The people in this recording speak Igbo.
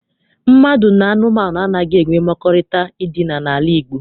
Mmadụ na anụmanụ anaghị enwe mmekọrịta edina n'ala Igbo.